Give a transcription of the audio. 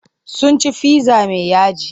Sun ci fizza mai yaji.